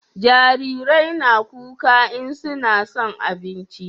jarirai na kuka in suna son abinci